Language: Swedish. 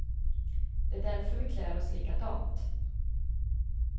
Det är därför vi klär oss likadant.